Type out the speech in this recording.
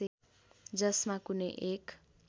जसमा कुनै एक